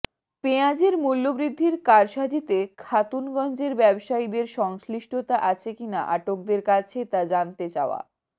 পেঁয়াজের মূল্যবৃদ্ধির কারসাজিতে খাতুনগঞ্জের ব্যবসায়ীদের সংশ্লিষ্টতা আছে কিনা আটকদের কাছে তা জানতে চাওয়া